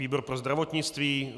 Výbor pro zdravotnictví.